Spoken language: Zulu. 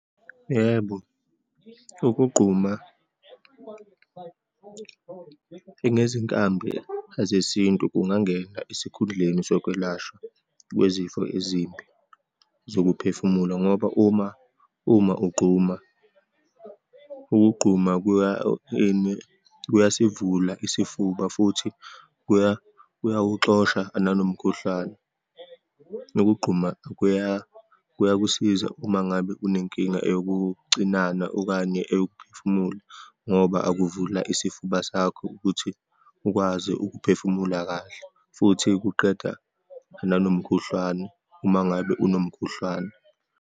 Yebo, ukugquma ngezinkambi zesintu kungangena esikhundleni sokwelashwa kwezifo ezimbi zokuphefumula, ngoba uma, uma ugquma, ukugquma kuya kuyasivula isifuba futhi kuya, kuyawuxosha nanomkhuhlane. Nokugquma kuya, kuyakusiza uma ngabe unenkinga eyokucinana okanye eyokuphefumula, ngoba akuvula isifuba sakho ukuthi ukwazi ukuphefumula kahle, futhi kuqeda nanomkhuhlane uma ngabe unomkhuhlane.